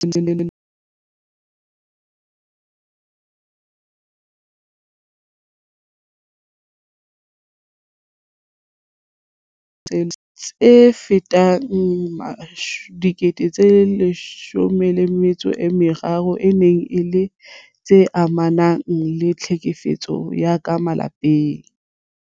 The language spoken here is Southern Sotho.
Ho dinyewe tsa tlhaselo tse kabang 73 000 tse ileng tsa tlalehwa nakong eo, tse fetang 13000 e ne e le tse amanang le tlhekefetso ya ka malapeng.